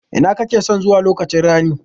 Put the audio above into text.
Ina kakeson zuwa lokaci ranin?